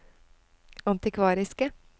antikvariske